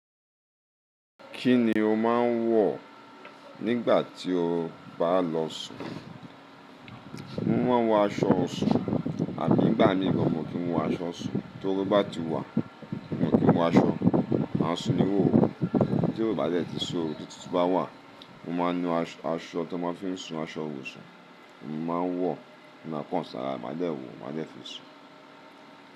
Kí ni o máa ń wọ̀ nígbà tí o bá lọ sùn? Mo máa ń wọ aṣọ sùn Àbí ń gba mí gan n kí wọ aṣọ òṣùn, tóru bá ti wà, mo kí ń wọ aṣọ, máa sùn ni wò ó. Tí ò bá dẹ̀ ti sí oru, tí òtútù bá wà, mo máa nu aṣọ tó máa ń fi ń sùn, aṣọ òṣùn, mo máa ń wọ̀, mo máa pọ̀n sára, màá dẹ̀ wò, màá dẹ̀ fi sùn.